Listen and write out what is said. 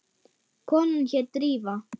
Konan hét Drífa.